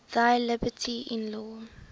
thy liberty in law